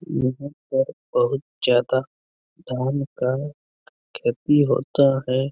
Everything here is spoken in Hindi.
यहाँ पर बहुत ज्यादा धान का खेती होता है ।